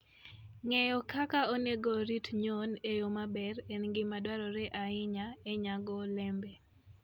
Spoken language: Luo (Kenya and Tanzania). Ng'eyo kaka onego orit nyuon e yo maber en gima dwarore ahinya e nyago olembe.